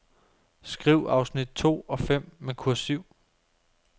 Skriv afsnit to og fem med kursiv.